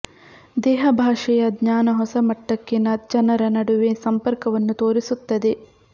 ದೇಹ ಭಾಷೆಯ ಜ್ಞಾನ ಹೊಸ ಮಟ್ಟಕ್ಕೆ ಜನರ ನಡುವೆ ಸಂಪರ್ಕವನ್ನು ತೋರಿಸುತ್ತದೆ